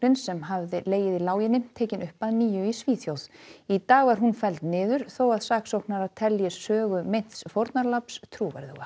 sem hafði legið í láginni tekin upp að nýju í Svíþjóð í dag var hún felld niður þó að saksóknarar telji sögu meints fórnarlambs trúverðuga